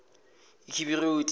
ekibiroti